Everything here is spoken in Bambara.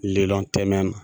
lilɔn tɛmɛ na